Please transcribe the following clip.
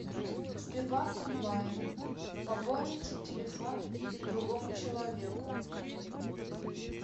сбербанк онлайн пополнить телефон другому человеку